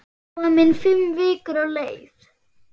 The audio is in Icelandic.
Komin fimm vikur á leið.